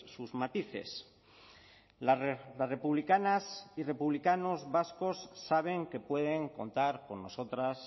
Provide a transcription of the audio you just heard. sus matices las republicanas y republicanos vascos saben que pueden contar con nosotras